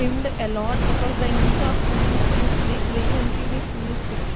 swimmed a lot because the inch of swimming pool is big we can see this in this picture.